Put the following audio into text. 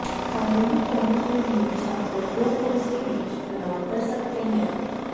Kalindi college में भी छात्र दो कोर्स के बीच चुनाव कर सकते हैं